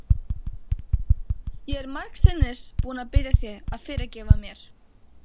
Ég er margsinnis búin að biðja þig að fyrirgefa mér.